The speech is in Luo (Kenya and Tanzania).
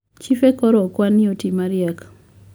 chife koro okwa ni otii mariek